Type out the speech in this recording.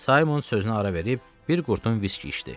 Saymon sözünə ara verib bir qurtum viski içdi.